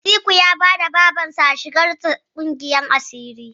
Atiku ya bada Babarsa a shigar sa ƙungiyar asiri.